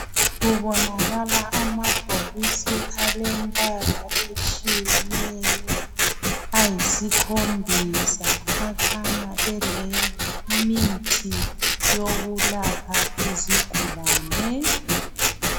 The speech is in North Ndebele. Kubonakale amabhokisi alombala otshiyeneyo ayisikhombosa akhanya elemithi yokulapha izigulane